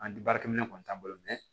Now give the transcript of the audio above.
An baarakɛminɛn kɔni t'an bolo